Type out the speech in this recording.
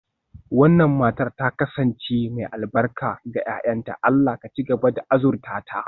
Wannan matar ta kasance mai albarka ga 'ya'yanta, Allah ya ci gaba da azurta ta.